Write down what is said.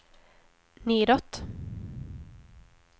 nedåt